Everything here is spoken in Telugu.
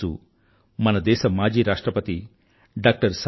ఆరోజు మన దేశ మాజీ రాష్ట్రపతి డాక్టర్